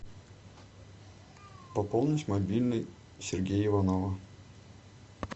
пополнить мобильный сергея иванова